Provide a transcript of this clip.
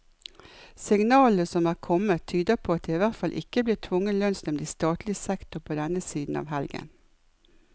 Signalene som er kommet, tyder på at det i hvert fall ikke blir tvungen lønnsnevnd i statlig sektor på denne siden av helgen.